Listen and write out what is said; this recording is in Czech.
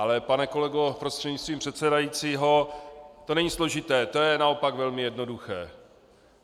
Ale pane kolego prostřednictvím předsedajícího, to není složité, to je naopak velmi jednoduché.